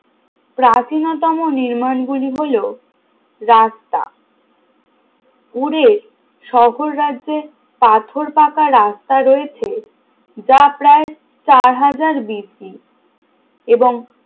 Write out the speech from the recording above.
প্রাচীনতম নির্মাণ গুলি হলো রাস্তা উড়ে শহর রাজ্যে পাথর পাকা রাস্তা রয়েছে যা প্রায় চার হাজার BC এবং